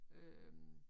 Øh